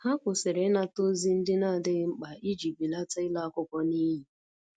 Ha kwụsịrị ịnata ozi ndị nadighi mkpa iji belata ịla akwụkwọ niyi